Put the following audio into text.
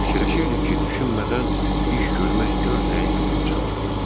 Fikirləşirdim ki, düşünmədən iş görmək gör nəyə gətirib çıxarır.